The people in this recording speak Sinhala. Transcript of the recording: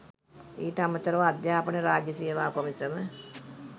ඊට අමතරව අධ්‍යාපන රාජ්‍ය සේවා කොමිසම